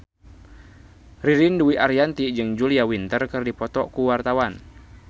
Ririn Dwi Ariyanti jeung Julia Winter keur dipoto ku wartawan